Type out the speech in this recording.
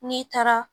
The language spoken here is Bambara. N'i taara